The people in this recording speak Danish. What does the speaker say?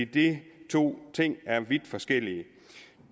de to ting er vidt forskellige